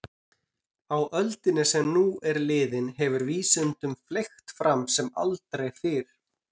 Á öldinni sem nú er liðin hefur vísindunum fleygt fram sem aldrei fyrr.